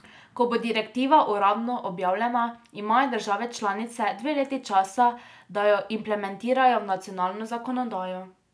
Ko bo direktiva uradno objavljena, imajo države članice dve leti časa, da jo implementirajo v nacionalno zakonodajo.